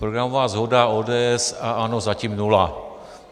Programová shoda ODS a ANO zatím nula.